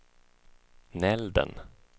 Nälden